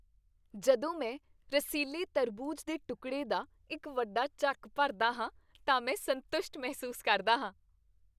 ਜਦੋਂ ਮੈਂ ਰਸੀਲੇ ਤਰਬੂਜ ਦੇ ਟੁਕੜੇ ਦਾ ਇੱਕ ਵੱਡਾ ਚੱਕ ਭਰਦਾ ਹਾਂ ਤਾਂ ਮੈਂ ਸੰਤੁਸ਼ਟ ਮਹਿਸੂਸ ਕਰਦਾ ਹਾਂ।